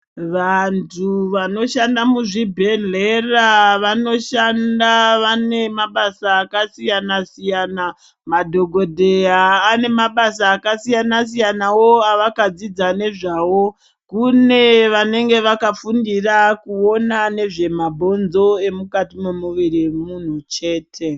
Vantu vanoshanda muzvibhedhlera vanoshanda vane mabasa akasiyana siyana madhokodheya ane mabasa akasiyana siyanawo avakadzidza nezvawo kune vanenge vakafundira kuwona nezvemabhonzo emukati memuviri memunhu chete .